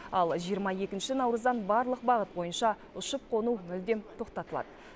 ал жиырма екінші наурыздан барлық бағыт бойынша ұшып қону мүлдем тоқтатылады